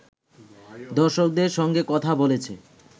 দর্শকের সঙ্গে কথা বলেছে